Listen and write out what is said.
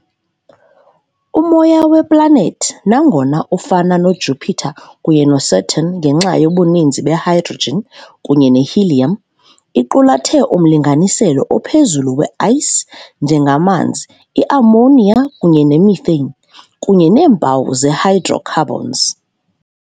Umoya weplanethi, nangona ufana noJupiter kunye neSaturn ngenxa yobuninzi be-hydrogen kunye ne-helium, iqulathe umlinganiselo ophezulu we "ice", njengamanzi, i- ammonia kunye ne-methane, kunye neempawu ze-hydrocarbons.